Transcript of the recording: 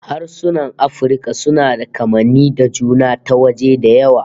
Harsunan Afirka suna da kamanni da juna ta waje da yawa